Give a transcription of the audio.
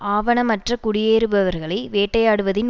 ஆவணமற்ற குடியேறுபவர்களை வேட்டையாடுவதின்